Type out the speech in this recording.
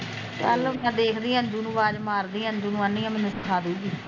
ਚੱਲ ਮੈਂ ਦੇਖਦੀ ਆ ਅੰਜੁ ਨੂੰ ਆਵਾਜ਼ ਮਾਰਦੀ ਆ ਅੰਜੁ ਨੂੰ ਕਹਿੰਦੀ ਆ ਮੈਨੂੰ ਸਿਖਾਦੂਗੀ